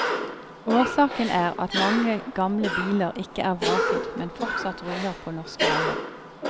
Årsaken er at mange gamle biler ikke er vraket, men fortsatt ruller på norske veier.